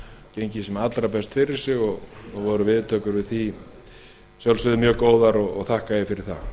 gengið sem allra fyrst fyrir sig og voru viðtökur við því að sjálfsögðu mjög góðar og þakka ég fyrir það